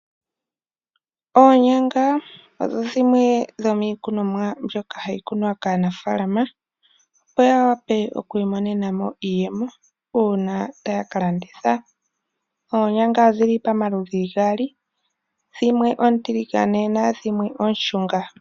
Oonyanga odho dhimwe dhomiikunomwa mbyoka hayi kunwa kaanafaalama opo ya wape okwi imonenamo iiyemo uuna taya kalanditha. Oonyanga odhili pamaludhi gaali dhimwe oontiligane nadhimwe ooshunga.